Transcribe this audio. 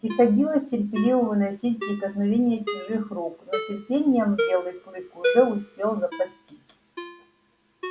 приходилось терпеливо выносить прикосновение чужих рук но терпением белый клык уже успел запастись